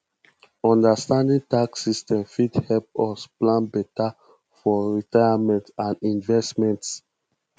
understanding tax systems fit help us plan beta for retirement and investments